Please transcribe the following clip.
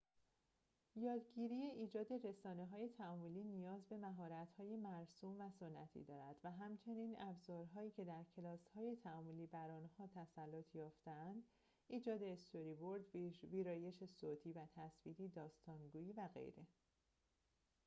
یادگیری ایجاد رسانه‌های تعاملی نیاز به مهارت‌های مرسوم و سنتی دارد، و همچنین ابزارهایی که در کلاس‌های تعاملی بر آنها تسلط یافته‌اند ایجاد استوری‌برد، ویرایش صوتی و تصویری، داستان‌گویی و غیره